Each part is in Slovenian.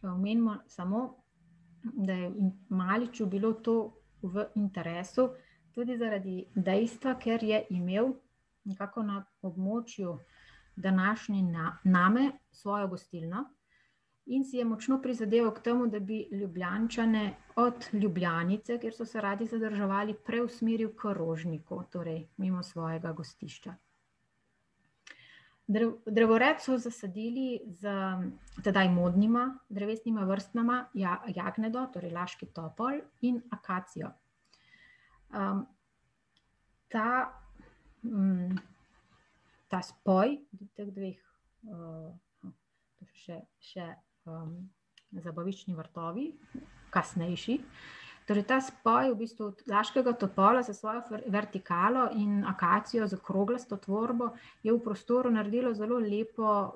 Pa omenimo samo, da je Maliču bilo to v interesu tudi zaradi dejstva, ker je imel nekako na območju današnje Name svojo gostilno in si je močno prizadeval k temu, da bi Ljubljančane od Ljubljanice, kjer so se radi zadrževali, preusmeril k Rožniku, torej mimo svojega gostišča. drevored so zasadili s tedaj modnima drevesnima vrstama, jagnedo, torej laški topol, in akacijo. ta, ta svoj teh dveh, še, še, zabaviščni vrtovi, kasnejši, torej ta spoj v bistvu laškega topola s svojo vertikalo in akacijo z okroglasto tvorbo je v prostoru naredil zelo lepo,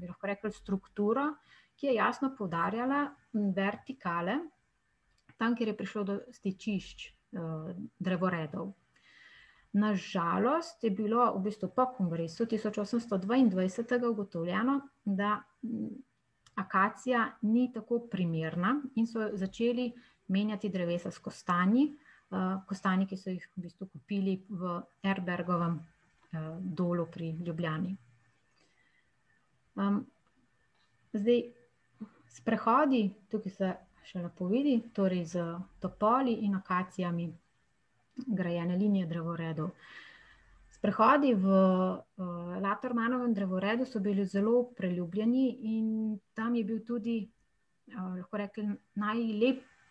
bi lahko rekli, strukturo, ki je jasno poudarjala vertikale tam, kjer je prišlo do stičišč, drevoredov. Na žalost je bilo v bistvu po kongresu tisoč osemsto dvaindvajsetega ugotovljeno, da, akacija ni tako primerna, in so začeli menjati drevesa s kostanji, kostanji, ki so jih v bistvu kupili v Erbergovem, Dolu pri Ljubljani. zdaj sprehodi, tukaj se še lepo vidi, torej s topoli in akacijami, grajene linije drevoredov, sprehodi v, Latermanovem drevoredu so bili zelo priljubljeni in tam je bil tudi, bi lahko rekli,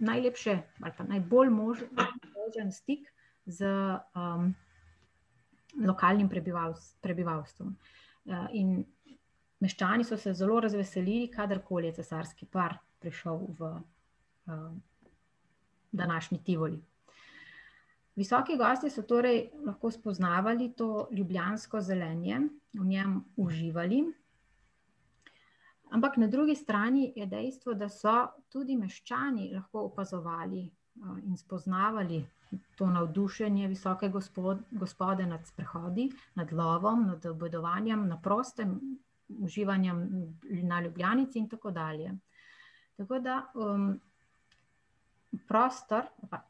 najlepše ali pa najbolj možen stik z, lokalnim prebivalstvom. in meščani so se zelo razveselili, kadarkoli je cesarski par prišel v, današnji Tivoli. Visoki gostje so torej lahko spoznavali to ljubljansko zelenje, v njem uživali, ampak na drugi strani je dejstvo, da so tudi meščani lahko opazovali, in spoznavali to navdušenje visoke gospode nad sprehodi, nad lovom, nad obedovanjem na prostem, uživanjem na Ljubljanici in tako dalje. Tako da, prostor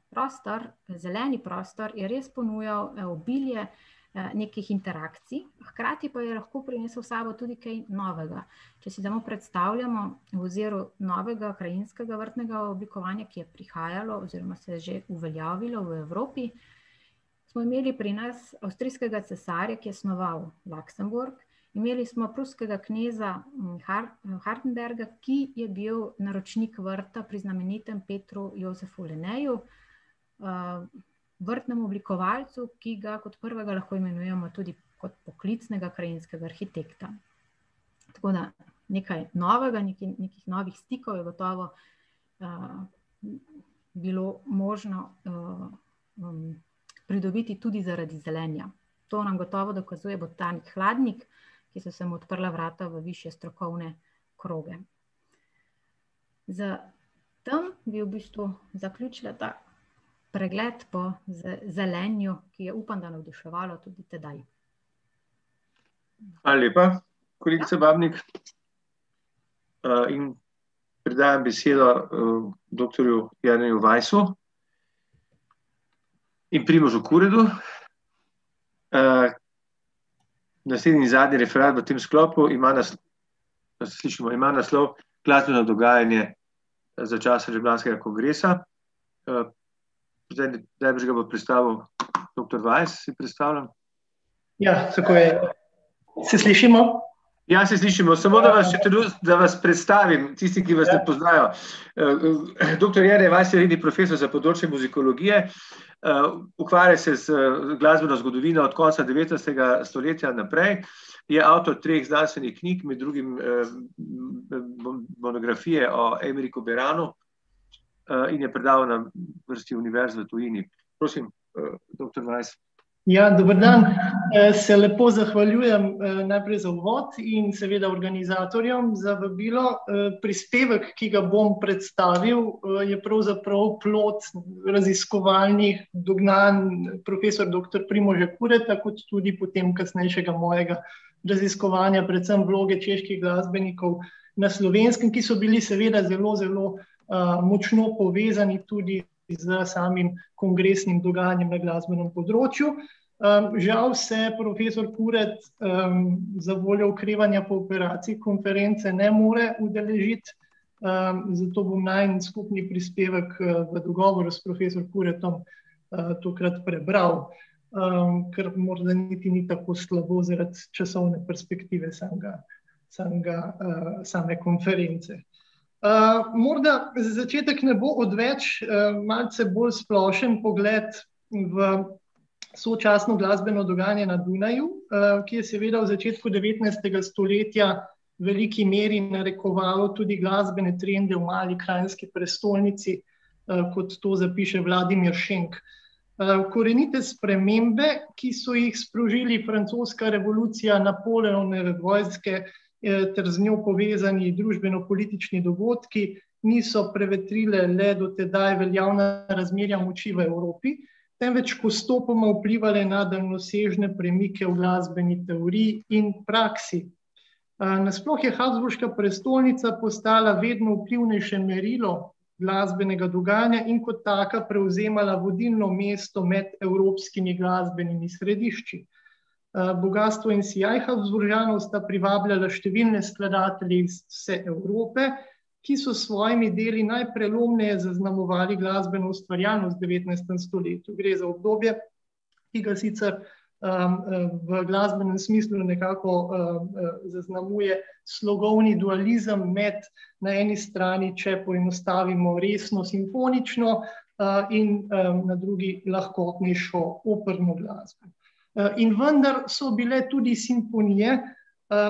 prostor, zeleni prostor je res ponujal obilje, nekih interakcij, hkrati pa je lahko prinesel s sabo tudi kaj novega. Če si damo predstavljamo v oziru novega krajinskega oblikovanja, ki je prihajalo oziroma se je že uveljavilo v Evropi, smo imeli pri nas avstrijskega cesarja, ki je snovali Luxembourg, imeli smo pruskega kneza Hartenberga, ki je bil naročnik vrta pri znamenitem Petru Jozefu Leneju, vrtnem oblikovalcu, ki ga kot prvega lahko imenujemo tudi kot poklicnega krajinskega arhitekta. Tako da nekaj novega, nekaj novih stikov je gotovo, bilo možno, pridobiti tudi zaradi zelenja. To nam gotovo dokazuje botanik Hladnik, ki so se mu odprla vrata v višje strokovne kroge. S tem bi v bistvu zaključila ta pregled po zelenju, ki je, upam da navduševalo tudi tedaj. Hvala lepa, kolegica Babnik. in predajam besedo, doktorju Jerneju Weissu in Primožu Kuredlu, naslednji, zadnji referat v tem sklopu ima ... A se slišimo, ima naslov Glasbeno dogajanje za časa Ljubljanskega kongresa. najbrž ga bo predstavil doktor Weiss, si predstavljam. Ja, tako je. Se slišimo? Ja, se slišimo, samo da vas še da vas predstavim tistim, ki vas ne poznajo. doktor Jernej Weiss je redni profesor za področje muzikologije, ukvarja se z glasbeno zgodovino od konca devetnajstega stoletja naprej. Je avtor treh znanstvenih knjig, med drugim, monografije o Beranu, in je predaval na vrsti univerz v tujini. Prosim, doktor Weiss. Ja, dober dan, se lahko zahvaljujem, najprej za uvod in seveda organizatorjom za vabilo. prispevek, ki ga bom predstavil, je pravzaprav plod raziskovalnih dognanj profesor doktor Primoža Kureta kot tudi potem kasnejšega mojega raziskovanja, predvsem vloge čeških glasbenikov na Slovenskem, ki so bili seveda zelo zelo, močno povezani tudi s samim kongresnim dogajanjem na glasbenem področju. žal se profesor Kuret, zavoljo okrevanja po operaciji konference ne more udeležiti, zato bom najin skupni prispevek, po dogovoru s profesor Kuretom, tokrat prebral, kar morda niti ni tako slabo zaradi časovne perspektive samega, samega, same konference. morda za začetek ne bo odveč, malce bolj splošen pogled v sočasno glasbeno dogajanje na Dunaju, ki je seveda v začetku devetnajstega stoletja v veliki meri narekovalo tudi glasbene trende v mali kranjski prestolnici, kot to zapiše Vladimir Šenk. korenite spremembe, ki so jih sprožili francoska revolucija, Napoleonove vojske, ter z njo povezani družbeno-politični dogodki, niso prevetrile, ne, do tedaj veljavna razmerja moči v Evropi, temveč postopoma vplivale na daljnosežne premike v glasbeni teoriji in praksi. nasploh je habsburška prestolnica postala vedno vplivnejše merilo glasbenega dogajanja in kot taka prevzemala vodilno mesto med evropskimi glasbenimi središči. bogastvo in sijaj Habsburžanov sta privabljala številne skladatelje iz vse Evrope, ki so s svojimi deli najprelomneje zaznamovali glasbeno ustvarjalnost v devetnajstem stoletju, gre za obdobje, ki ga sicer, v glasbnem smislu nekako, zaznamuje slogovni dualizem med na eni strani, če poenostavimo, resno simfonično, in na drugi lahkotnejšo operno glasbo. in vendar so bile tudi simfonije,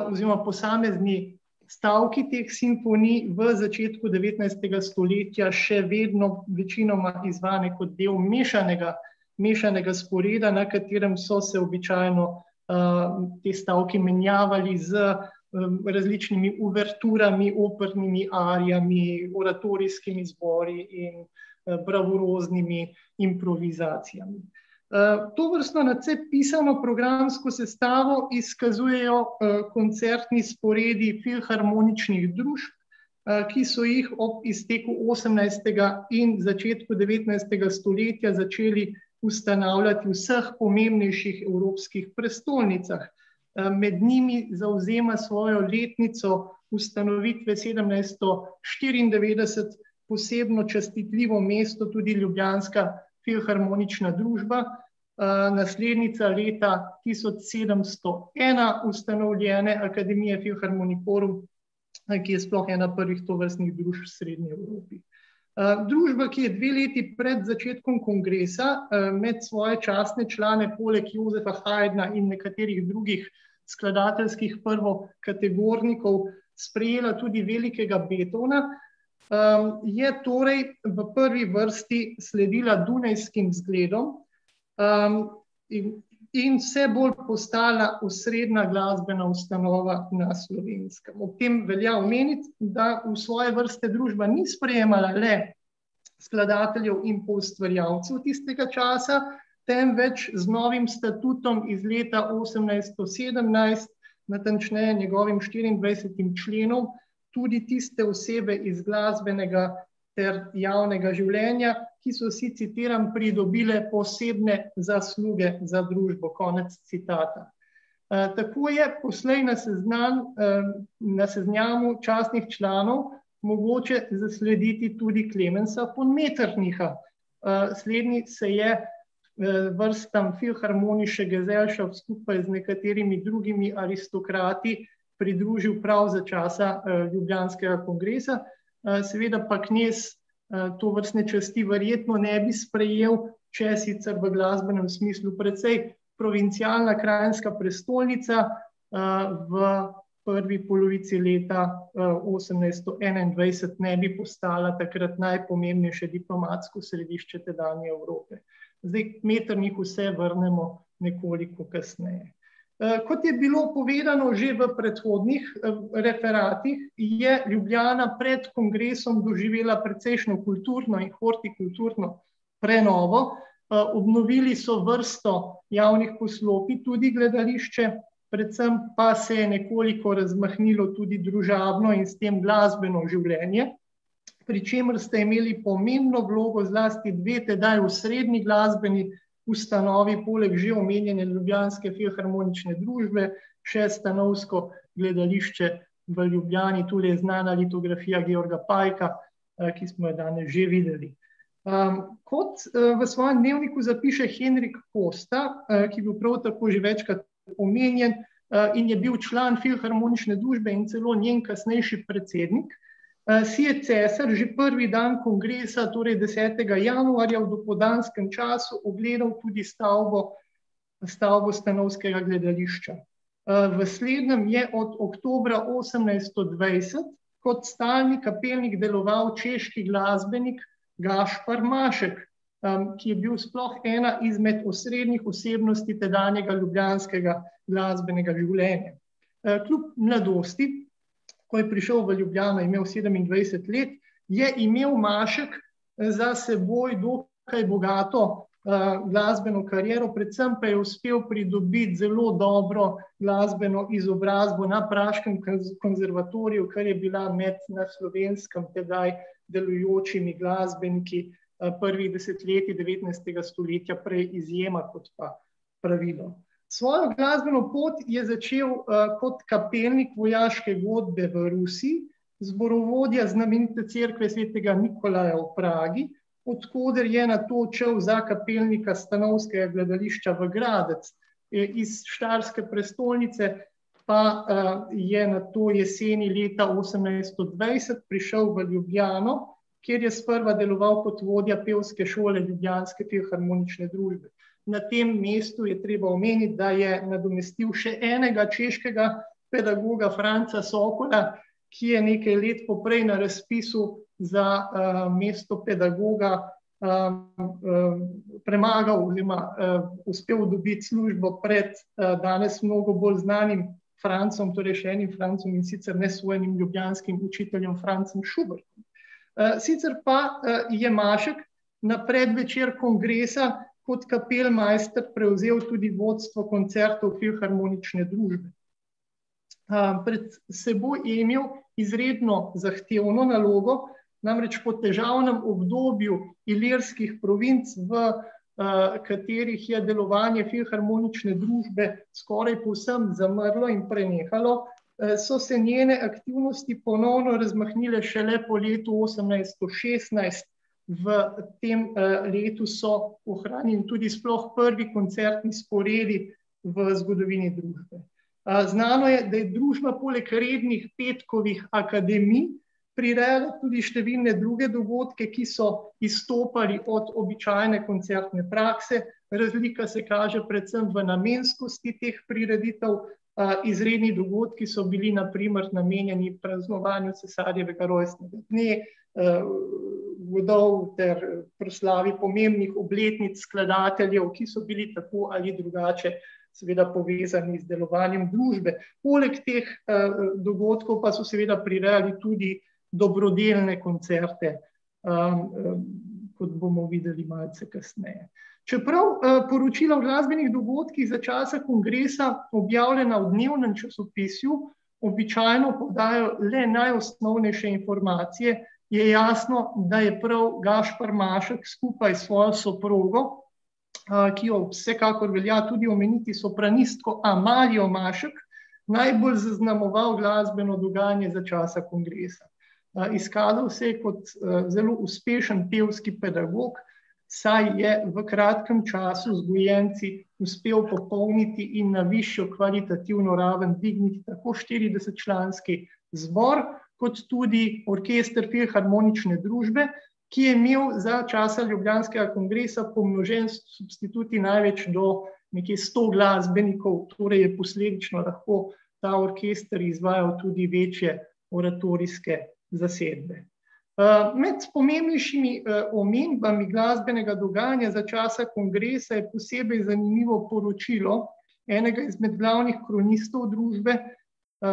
oziroma posamezni stavki teh simfonij v začetku devetnajstega stoletja še vedno večinoma znane kot del mešanega, mešanega sporeda, na katerem so se običajno, ti stavki menjavali z, različnimi uverturami, opernimi arijami, oratorijskimi zbori in, bravuroznimi improvizacijami. tovrstno, nadvse pisano programsko sestavo izkazujejo, koncertni sporedi filharmoničnih družb, ki so jih ob steku osemnajstega in začetku devetnajstega stoletja začeli ustanavljati v vseh pomembnejših evropskih prestolnicah, med njimi zavzema svojo letnico ustanovitve sedemsto štiriindevetdeset posebno častitljivo mesto tudi ljubljanska filharmonična družba. naslednica leta tisoč sedemsto ena, ustanovljene akademije Philharmonicorum, ki je sploh ena prvih tovrstnih družb v srednji Evropi. družba, ki je dve leti pred začetkom kongresa, med svoje častne člane poleg Josefa Haydna in nekaterih drugih skladateljskih prvokategornikov sprejela tudi velikega Beethovna, je torej v prvi vrsti sledila dunajskim zgledom, in, in vse bolj postala osrednja glasbena ustanova na Slovenskem, ob tem velja omeniti, da v svoje vrste družba ni sprejemala le skladateljev in poustvarjalcev tistega časa, temveč z novim statutom iz leta osemnajsto sedemnajst, natančneje njegovim štiriindvajsetim členom, tudi tiste osebe iz glasbenega ter javnega življenja, ki so si, citiram, "pridobile posebne zasluge za družbo", konec citata. tako je poslej na seznam, na seznamu častnih članov mogoče zaslediti tudi Klemensa von Metternicha, slednji se je, vrstam Philharmonische Gesellscaft skupaj z nekaterimi drugimi aristokrati pridružil prav za časa, ljubljanskega kongresa, seveda pa knez, tovrstne časti verjetno ne bi sprejel, če sicer v glasbenem smislu precej provincialna kranjska prestolnica, v prvi polovici leta, osemnajsto enaindvajset ne bi postala takrat najpomembnejše diplomatsko središče tedanje Evrope. Zdaj, k Metternichu se vrnemo nekoliko kasneje. kot je bilo povedano že v predhodnih, referatih, je Ljubljana pred kongresom doživela precejšnjo kulturno in hortikulturno prenovo, obnovili so vrsto javnih poslopij, tudi gledališče, predvsem pa se je nekoliko razmahnilo tudi družabno in s tem glasbeno življenje, pri čemer sta imeli pomembno vlogo zlasti dve, tedaj osrednji glasbeni ustanovi poleg že omenjene ljubljanske filharmonične družbe še stanovsko gledališče v Ljubljani, tu je znana litografija Pajka, ki jo smo danes že videli. kot, v svojem dnevniku zapiše Henrik Kosta, ki je bil prav tako že večkrat omenjen, in je bil član filharmonične družbe in celo njen kasnejši predsednik, si je cesar že prvi dan kongresa, torj desetega januarja, v popoldanskem času ogledal tudi stavbo, stavbo stanovskega gledališča. v slednjem je od oktobra osemnajststo dvajset kot stalni kapelnik deloval češki glasbenik Gašper Mašek, ki je bil sploh ena izmed osrednjih osebnosti tedanjega ljubljanskega glasbenega življenja. kljub mladosti, ko je prišel v Ljubljano, je imel sedemindvajset let, je imel Mašek za seboj dokaj bogato, glasbeno kariero, predvsem pa je uspel pridobiti zelo dobro glasbeno izobrazbo na praškem konservatoriju, kar je bila na Slovenskem tedaj delujočimi glasbeniki, prvih desetletij devetnajstega stoletja prej izjema kot pa pravilo. Svojo glasbeno pot je začel, kot kapelnik vojaške godbe v Rusiji, zborovodja znamenite cerkve Svetega Nikolaja v Pragi, od koder je nato odšel za kapelnika stanovskega gledališča v Gradec, iz štajerske prestolnice pa, je nato jeseni, leta osemnajststo dvajset, prišel v Ljubljano, kjer je sprva deloval kot vodja pevske šole Ljubljanske filharmonične družbe. Na tem mestu je treba omeniti, da je nadomestil še enega češkega pedagoga, Franca Sokola, ki je nekaj let poprej na razpisu za, mesto pedagoga, premagal oziroma, uspel dobiti službo pred, danes mnogo bolj znanim Francem, torej še enim Francem, in sicer nesojenim ljubljanskim učiteljem Francem Šubljem. sicer pa, je Mašek na predvečer kongresa kot kapelmajster prevzel tudi vodstvo koncertov Filharmonične družbe. pred seboj je imel izredno zahtevno nalogo, namreč po težavnem obdobju Ilirskih provinc, v, katerih je delovanje Filharmonične družbe skoraj povsem zamrlo in prenehalo, so se njene aktivnosti ponovno razmahnile šele po letu osemnajststo šestnajst, v tem, letu so ohranjeni tudi sploh prvi koncertni sporedi v zgodovini družbe. znano je, da je družba poleg rednih petkovih akademij prirejala tudi številne druge dogodke, ki so izstopali od običajne koncertne prakse. Razlika se kaže predvsem v namenskosti teh prireditev, izredni dogodki so bili na primer namenjeni praznovanju cesarjevega rojstnega dne, godov ter proslavi pomembnih obletnic skladateljev, ki so bili tako ali drugače seveda povezani z delovanjem družbe. Poleg teh, dogodkov pa so seveda prirejali tudi dobrodelne koncerte, kot bomo videli malce kasneje. Čeprav, poročila o glasbenih dogodkih za časa kongresa, objavljena v dnevnem časopisju, običajno podajajo le najosnovnejše informacije, je jasno, da je prav Gašper Mašek skupj s svojo soprogo, ki jo vsekakor velja tudi omeniti, sopranistko Amalijo Mašek, najbolj zaznamoval glasbeno dogajanje za časa kongresa. izkazal se je, kot zelo uspešen pevski pedagog, saj je v kratkem času z gojenci uspel popolniti in na višjo kvalitativno ravno dvigniti tako štiridesetčlanski zbor kot tudi orkester Filharmonične družbe, ki je imel za časa ljubljanskega kongresa pomnožen s substituti največ do nekaj sto glasbenikov, torej je posledično lahko ta orkester izvajal tudi večje oratorijske zasedbe. med pomembnejšimi, omembami glasbenega dogajanja za časa kongresa je posebej pomenljivo poročilo enega izmed glavnih kronistov družbe,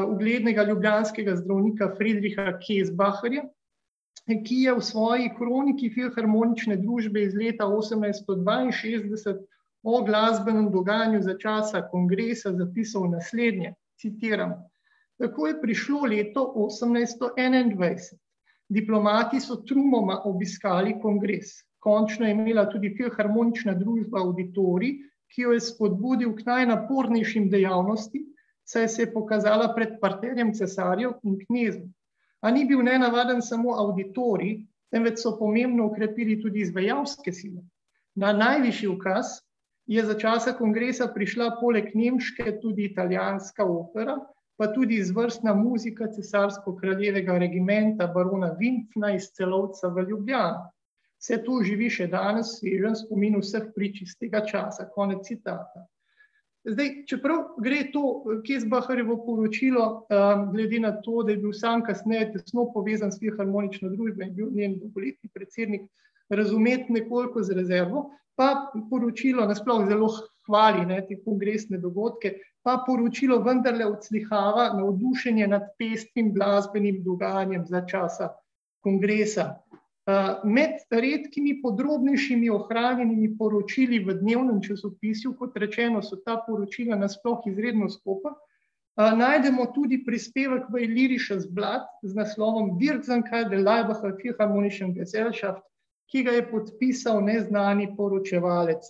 uglednega ljubljanskega zdravnika, Friedricha Kesbacherja, ki je v svoji kroniki Filharmonične družbe iz leta osemnajststo dvainšestdeset o glasbenem dogajanju za časa kongresa zapisal naslednje, citiram: "Tako je prišlo leto osemnajststo enaindvajset. Diplomati so trumoma obiskali kongres. Končno je imela tudi Filharmonična družba avditorij, ki jo je spodbudil k najnapornejšim dejavnostim, saj se je pokazala pred parterjem cesarjev in knezov. Pa ni bil nenavaden samo avditorij, temveč so pomembno okrepili tudi izvajalske ... Na najvišji ukaz je za časa kongresa prišla poleg nemške tudi italijanska opera, pa tudi izvrstna muzika cesarsko-kraljevega regimenta, barona iz Celovca v Ljubljano. Saj tu živi še danes v spomin vsh prič iz tega časa." Konec citata. Zdaj, čeprav gre to Kesbacherjevo poročilo, glede na to, da je bil samo kasneje tesno povezan s Filharmonično družbo in je bil njen dolgoletni predsednik, razumeti nekoliko za rezervo, pa poročilo nasploh zelo hvali, ne, te kongresne dogodke, pa poročilo vendarle odslikava navdušenje nad pestrim glasbenim dogajanjem za časa kongresa. med redkimi podrobnejšimi opravljenimi poročili v dnevnem časopisju, kot rečeno, so ta poročila nasploh izredno skopa, najdemo tudi prispevek v Illyrisches Blatt z naslovom Philharmonischen Gesellschaft, ki ga je podpisal neznani poročevalec.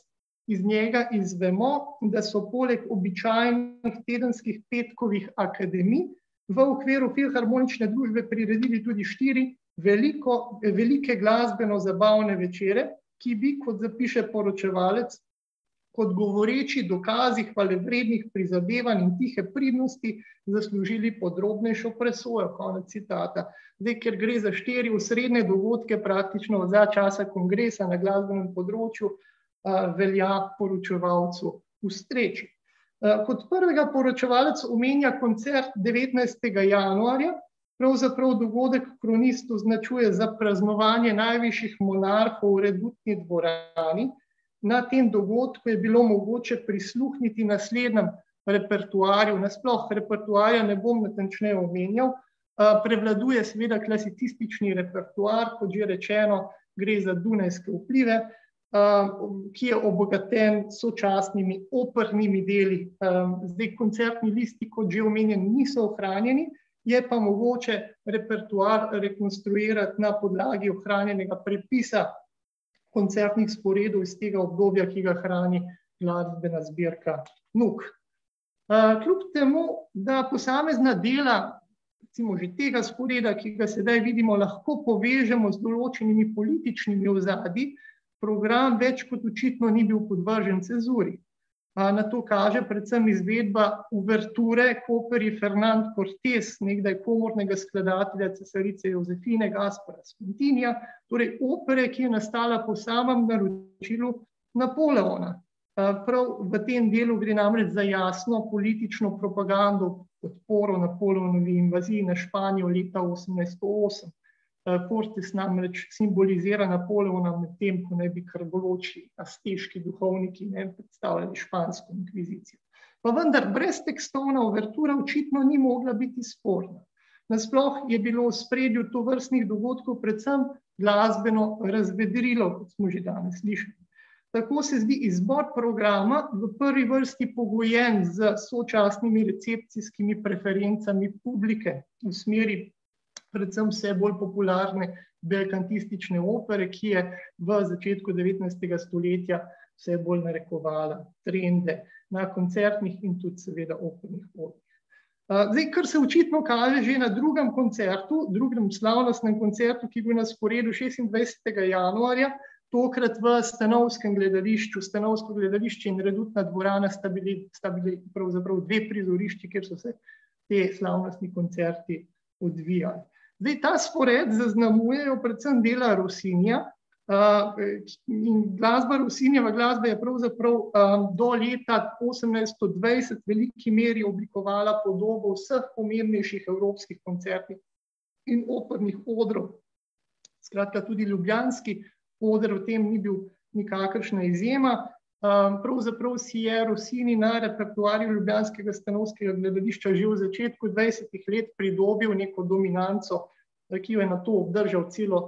Iz njega izvemo, da so poleg običajnih tedenskih petkovih akademij v okviru Filharmonične družbe priredili tudi štiri veliko, velike glasbeno-zabavne večere, ki bi, kot zapiše poročevalec, kot govoreči dokazi hvalevrednih prizadevanj in tihe pridnosti zaslužili podrobnejšo presojo. Konec citata. Zdaj, ker gre za štiri osrednje dogodke, praktično za časa kongresa na glasbenem področju, velja poročevalcu ustreči. kot prvega poročevalec omenja koncert devetnajstega januarja, pravzaprav dogodek kronist označuje za praznovanje najvišjih monarhov v redutni dvorani, na tem dogodku je bilo mogoče prisluhniti naslednjemu repertoarju, nasploh repertoarja ne bom natančneje omenjal, prevladuje seveda klasicistični repertoar, kot že rečeno, gre za dunajske vplive, ki je obogaten s sočasnimi opernimi deli. zdaj, koncertni listi, kot že omenjeni, niso ohranjeni, je pa mogoče repertoar rekonstruirati na podlagi ohranjenega prepisa koncertnih sporedov iz tega obdobja, ki ga hrani glasbena zbirka NUK. kljub temu da posamezna dela, recimo že tega sporeda, ki ga sedaj vidimo, lahko povežemo z določenimi političnimi ozadji, program več kot očitno ni bil podvržen cenzuri. na to kaže predvsem izvedba uverture Kortez, nekdaj komornega skladatelja cesarice Jozefine Gaspraz , torej opere, ki je nastala po samem naročilu Napoleona. prav v temu delu gre namreč za jasno politično propagando foruma, forum in invazije na Španijo leta osemnajststo osem. Kortis namreč simbolizira Napoleona, medtem ko naj bi krvoločni azteški duhovniki, ne, predstavljali špansko inkvizicijo. Pa vendar breztekstovna uvertura očitno ni mogla biti sporna. Nasploh je bilo v ospredju tovrstnih dogodkov predvsem glasbeno razvedrilo, kot smo že danes slišali. Tako se zdi izbor programa v prvi vrsti pogojen s sočasnimi recepcijskimi preferencami publike v smeri predvsem vse bolj popularne belkantistične opere, ki je v začetku devetnajstega stoletja vse bolj narekovala trende na koncertnih in tudi seveda opernih odrih. zdaj, kar se očitno kaže že na drugem koncertu, drugem slavnostnem koncertu, ki je bil na sporedu šestindvajsetega januarja, tokrat v stanovskem gledališču, stanovsko gledališče in redutna dvorana sta bili, sta bili pravzaprav dve prizorišči, kjer so se ti slavnostni koncerti odvijali. Zdaj, ta spored zaznamujejo predvsem dela Rossinja, glasba, Rossinijeva glasba je pravzaprav, do leta osemnajststo dvajset v veliki meri oblikovala podobo vseh pomembnejših evropskih koncertnih in opernih odrov. Skratka, tudi ljubljanski oder v tem ni bil nikakršna izjema, pravzaprav si je Rossini na repertoarju ljubljanskega stanovskega gledališča že v začetku dvajsetih let pridobil neko dominanco, ki jo je nato obdržal celo,